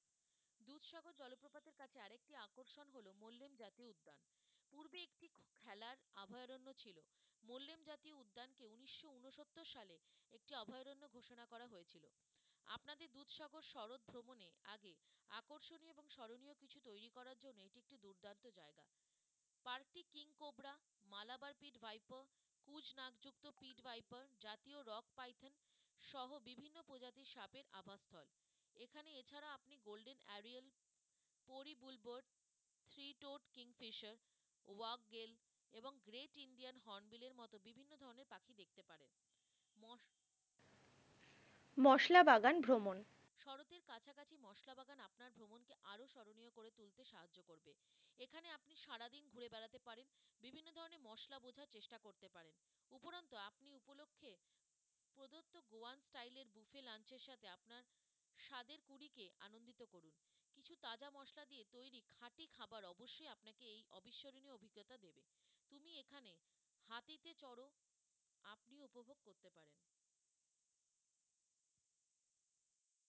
মশলা বাগান ভ্রমণ